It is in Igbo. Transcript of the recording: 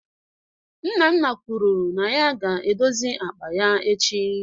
Nnanna kwuru na ya ga-edozi akpa ya echi